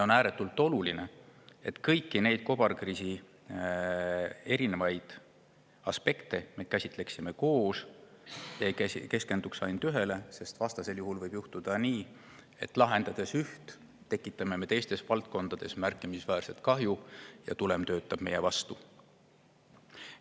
On ääretult oluline, et kõiki neid kobarkriisi aspekte me käsitleksime koos, ei keskenduks ainult ühele, sest vastasel juhul võib juhtuda nii, et lahendades üht, tekitame me teistes valdkondades märkimisväärset kahju ja tulem töötab meie vastu.